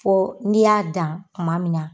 Fɔ n'i y'a dan kuma min na.